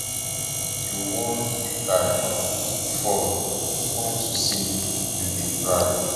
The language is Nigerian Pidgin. you wan make i um fall unto say you dey cry